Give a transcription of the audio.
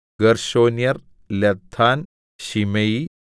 ഗേർശോന്യർ ലദ്ദാൻ ശിമെയി